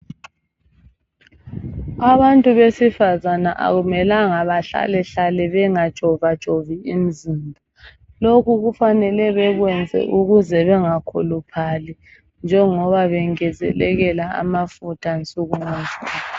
Abantu besifazana kakumelanga behlalehlale bengatshovatshovi imizimba. Lokhu kufanele bekwenze ukuze bengakhuluphali, njengoba bengezeleleka amafutha nsuku ngansuku.